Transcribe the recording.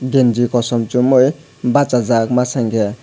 genji kosom chumui bachajak masa hwnkhe.